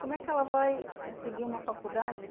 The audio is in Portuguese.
Como é que ela vai eh seguir uma faculdade?